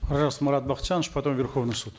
пожалуйста марат бакытжанович потом верховный суд